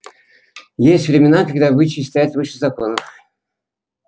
есть времена когда обычаи стоят выше законов